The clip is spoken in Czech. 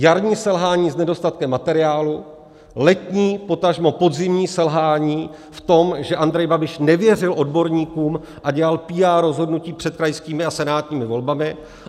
Jarní selhání s nedostatkem materiálu, letní potažmo podzimní selhání v tom, že Andrej Babiš nevěřil odborníkům a dělal PR rozhodnutí před krajskými a senátními volbami.